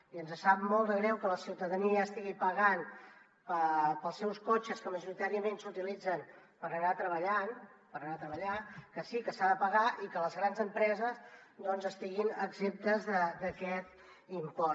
i ens sap molt de greu que la ciutadania estigui pagant pels seus cotxes que majoritàriament s’utilitzen per anar a treballar que sí que s’ha de pagar i que les grans empreses doncs estiguin exemptes d’aquest impost